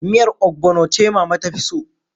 Miyar Ogbono ce mama ta fi so